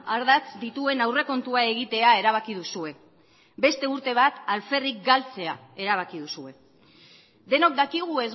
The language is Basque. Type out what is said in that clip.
ardatz dituen aurrekontua egitea erabaki duzue beste urte bat alferrik galtzea erabaki duzue denok dakigu